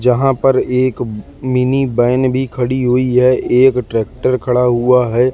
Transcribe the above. जहां पर एक मिनी वैन भी खड़ी हुई है। एक ट्रैक्टर खड़ा हुआ है।